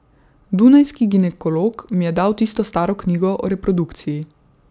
Dunajski ginekolog mi je dal tisto staro knjigo o reprodukciji.